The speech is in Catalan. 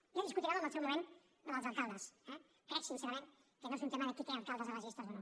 ja discutirem en el seu moment la dels alcaldes eh crec sincerament que no és un tema de qui té alcaldes a les llistes o no